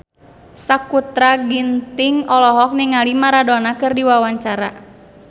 Sakutra Ginting olohok ningali Maradona keur diwawancara